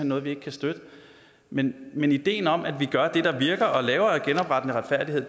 noget vi ikke kan støtte men men ideen om at vi gør det der virker og laver genoprettende retfærdighed